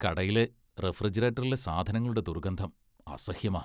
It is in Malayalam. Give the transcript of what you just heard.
കടയിലെ റഫ്രിജറേറ്ററിലെ സാധനങ്ങളുടെ ദുർഗന്ധം അസഹ്യമാ.